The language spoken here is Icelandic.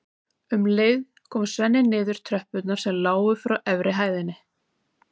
Um leið kom Svenni niður tröppurnar sem lágu frá efri hæðinni.